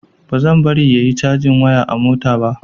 Bazan bari yayi cajin waya a mota ba.